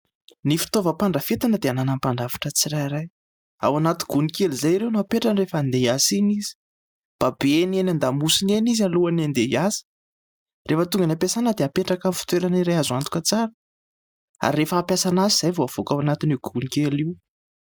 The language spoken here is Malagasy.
Ny fitaovam-pandrafetana dia ananan'ny mpandrafitra tsirairay. Ao anaty gony kely izay ireo no apetrany rehefa handeha hiasa iny izy. Babeny eny an-damosiny eny izy alohan'ny handeha hiasa rehefa tonga an'ny ampiasana dia apetraka amin'ny fitoerana iray azo antoka tsara ary rehefa hampiasa an'azy izay vao havoaka ao anatin'io gony kely io.